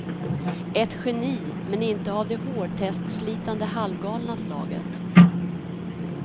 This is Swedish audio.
Ett geni, men inte av det hårtestslitande halvgalna slaget.